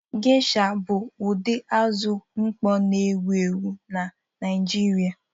Gesha bụ ụdị azụ mkpọ na-ewu ewu na Naịjirị.